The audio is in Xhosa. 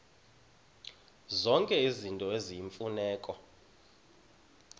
zonke izinto eziyimfuneko